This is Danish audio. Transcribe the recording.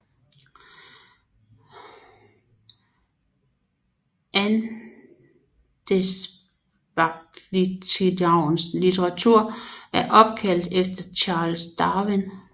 Andesvagteltinamuens latinske navn er opkaldt efter Charles Darwin